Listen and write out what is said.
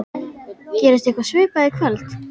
Gerist eitthvað svipað í kvöld?